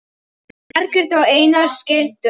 Margrét og Einar skildu.